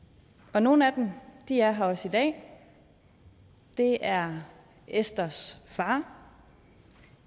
og nogle af dem er her også i dag det er esthers far